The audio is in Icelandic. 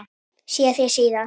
Sé þig síðar.